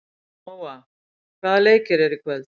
Nóa, hvaða leikir eru í kvöld?